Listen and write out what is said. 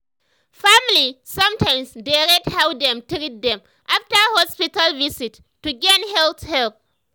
family sometimes dey rate how dem treat dem after hospital visit to gain health help.